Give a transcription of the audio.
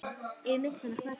Ef ég missti hana, hvað þá?